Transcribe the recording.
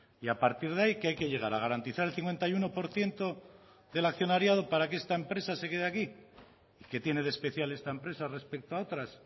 y a partir de ahí que hay que llegar a garantizar el cincuenta y uno por ciento del accionariado para que esta empresa se quede aquí qué tiene de especial esta empresa respecto a otras